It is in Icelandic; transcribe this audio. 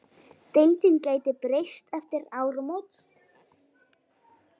Deildin gæti breyst eftir áramót.